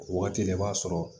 O waati la i b'a sɔrɔ